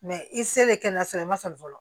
Mɛ i selen kɛnɛyaso la i ma sɔn fɔlɔ